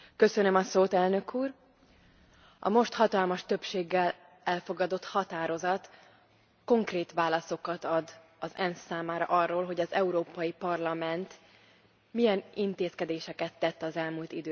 Elnök Úr, a most hatalmas többséggel elfogadott állásfogalás konkrét válaszokat ad az ENSZ számára arról, hogy az Európai Parlament milyen intézkedéseket tett az elmúlt időszakban.